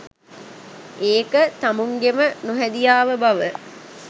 ඒක තමුංගෙම නොහැදියාව බව